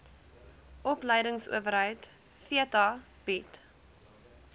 opleidingsowerheid theta bied